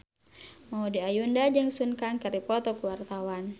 Maudy Ayunda jeung Sun Kang keur dipoto ku wartawan